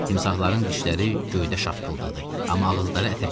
Timsahların dişləri göydə şaqqıldadı, amma ağızları ətə çatmadı.